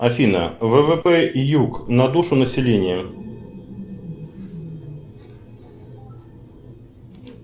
афина ввп юг на душу населения